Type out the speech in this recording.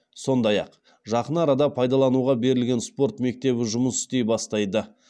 сондай ақ жақын арада пайдалануға берілген спорт мектебі жұмыс істей бастайды